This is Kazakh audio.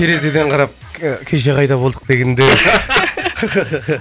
терезеден қарап кеше қайда болдық дегендер